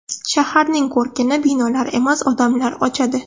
Shaharning ko‘rkini binolar emas, odamlar ochadi.